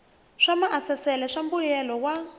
swa maasesele swa mbuyelo wa